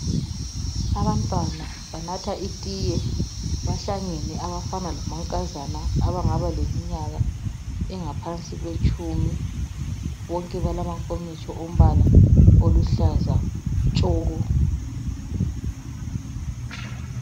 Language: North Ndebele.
Abantwana banatha itiye bahlangene abafana lamankazana abangaba leminyaka engaphansi kwetshumi bonke balamankomitsho ombala oluhlaza tshoko.